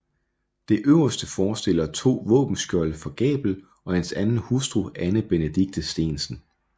Det øverste forestiller to våbenskjolde for Gabel og hans anden hustru Anne Benedicte Steensen